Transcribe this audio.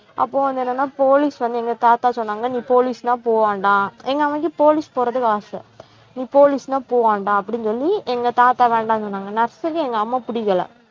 அப்போ வந்து என்னன்னா police வந்து எங்க தாத்தா சொன்னாங்க நீ police ன்னா போக வேண்டாம் எங்க அம்மாக்கு police போறதுக்கு ஆசை நீ police ன்னா போ வேண்டாம் அப்படின்னு சொல்லி எங்க தாத்தா வேண்டான்னு சொன்னாங்க nurse க்கு எங்க அம்மா பிடிக்கலை